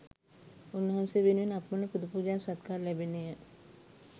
උන්වහන්සේ වෙනුවෙන් අපමණ පුදපූජා සත්කාර ලැබෙන්නේ ය.